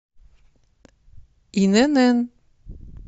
инн